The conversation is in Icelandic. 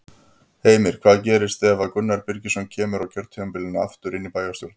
Heimir: Hvað gerist ef að Gunnar Birgisson kemur á kjörtímabilinu aftur inn í bæjarstjórn?